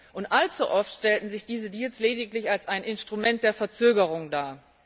Und allzu oft stellten sich diese Deals lediglich als ein Instrument der Verzögerung dar.